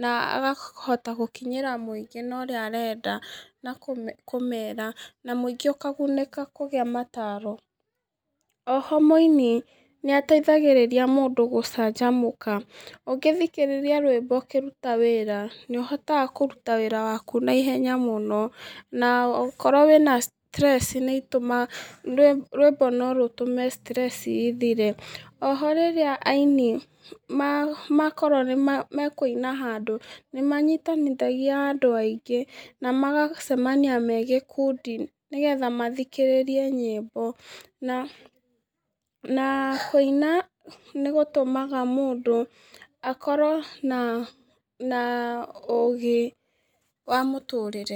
na akahota gũkinyĩra mũingĩ na ũrĩa arenda kũmera na mũingĩ ũkagunĩka nĩ mataro. Oho mũini nĩateithagĩrĩria mũndũ gũcanjamũka ũngĩthikĩrĩria rwĩmbo ũkĩruta wĩra nĩũhotaga kũruta wĩra waku na ihenya mũno na ũkorwo wĩna stress nĩcitũmaga kana rwĩmbo nũrũtũmaga stress ithire. Oho rĩrĩa aini makorwo nĩmekũina handũ nĩmanyitithanagia andũ aingĩ na magagĩcemania megĩkundi nĩgetha mathikĩrĩrie nyĩmbo na kũina nĩgũtũmaga mũndũ akorwo na ũgĩ wa mũtũrĩre.